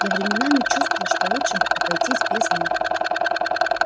я временами чувствую что лучше бы обойтись без них